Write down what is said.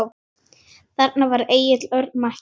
Þarna var Egill Örn mættur.